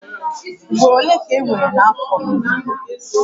Ugboro ole ka enwere n'afọ ime?